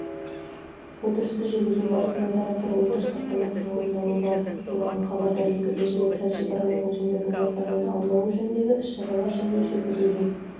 отырысты жүргізу барысында тараптар отырыс хаттамасының орындалу барасы туралы хабардар етілді және трансшекаралық өзендердің ластануын алдын алу жөніндегі іс-шаралар және жүргізілген